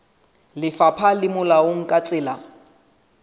lefapha le molaong ka tsela